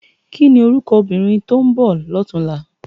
Kini órúkò óbìrín tó n bò lòtúnlá?